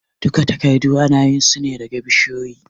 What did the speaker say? Duka takardu anayin sune daga bishiyoyin